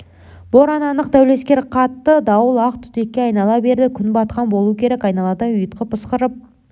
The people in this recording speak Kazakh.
боран анық дәулескер қатты дауыл ақ түтекке айнала берді күн батқан болу керек айналада ұйытқып ысқырып